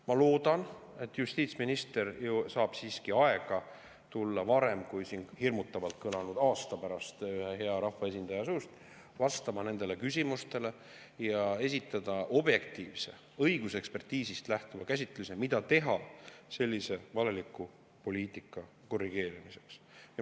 Ma loodan, et justiitsminister leiab siiski aega tulla varem kui siin hirmutavalt kõlanud aasta pärast, hea rahvaesindaja suust, vastama nendele küsimustele ja esitada objektiivne, õigusekspertiisist lähtuv käsitlus, mida teha sellise valeliku poliitika korrigeerimiseks.